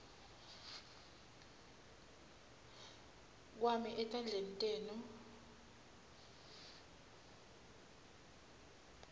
kwami etandleni tenu